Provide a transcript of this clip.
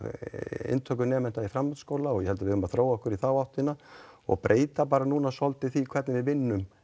inntöku nemenda í framhaldsskóla og ég held að við eigum að þróa okkur í þá áttina og breyta núna svolítið hvernig við vinnum